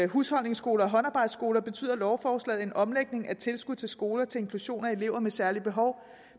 husholdningsskoler og håndarbejdsskoler betyder lovforslaget en omlægning af tilskud til skoler til inklusion af elever med særlige behov